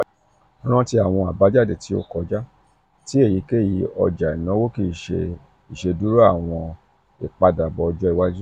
ranti “awọn abajade ti o um kọja ti eyikeyi ọja-inawo kii ṣe iṣeduro awọn um ipadabọ ọjọ iwaju.”